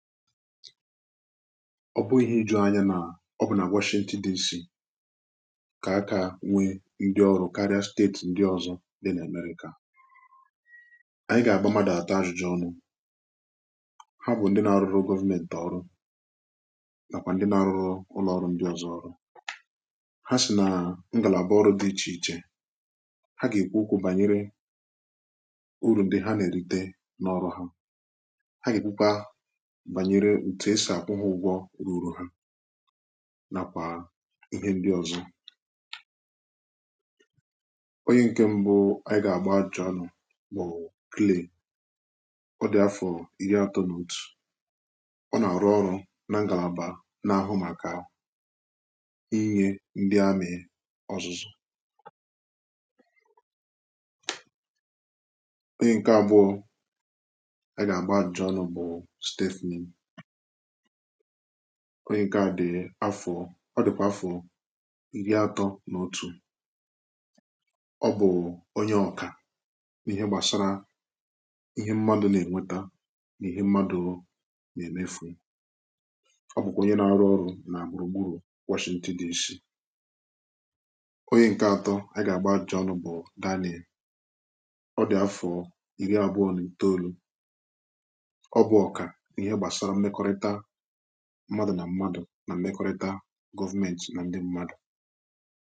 ọ bụghị ijuanya na ọbụna washington dc ka aka nwe ndị ọrụ karịa steeti ndị ọzọ dị n’amerịka anyị ga-agba mmadụ atọ ajụjụ ọnụ ha bụ ndị na-arụ government ọrụ nakwa ndị na-arụrụ ụlọ ọrụ ndị ọzọ ọrụ ha sị na ngalaba ọrụ dị iche iche ha ga-ekwu okwu banyere uru ndị ha na-erite n’ọrụ ha ǹduru ha nàkwà ihe ndị ọ̀zọ̀ onye ǹkẹ̀ m̀bụ ànyị gà-agba ajụ̀jụ̀ ọnụ̇ bụ̀ klee ọ dị̀ afọ̀ iri atọnụ̇ tụ̀ ọ nà-arụ ọrụ nà m gà na-abà nà-ahụ màkà inye ndị amyẹ ọzụzụ onye ǹkẹ̀ abụọ ànyị gà-agba ajụ̀jụ̀ ọnụ̇ bụ̀ onye nke à dị afọ ọ dịkwà afọ iri atọ na otu̇ ọ bụ̀ onye ọkà n’ihe gbasara ihe mmadụ̀ na-enweta n’ihe mmadụ̀ na-emefù ọ bụ̀kwà onye na-arụ ọrụ̇ na gburugburu wchntin di nshị onye nke atọ a gà-agba ajụ̀jụ̀ ọnụ̇ bụ̀ daniel ọ dị̀ afọ iri abụọ̀ n’olù mmadụ̀ nà mmadụ̀ nà mekọrịta gọvmentị nà ndị mmadụ̀